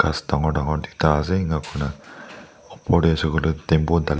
kas tangore tangore tuita ase enakuikina opor teh hoishikoile tempo tali.